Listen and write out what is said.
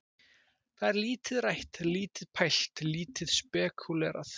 Það er lítið rætt, lítið pælt, lítið spekúlerað.